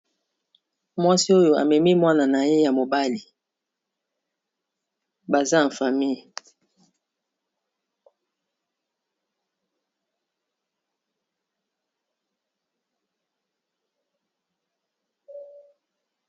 Mwasi oyo amemi mwana na ye ya mobali baza en famille.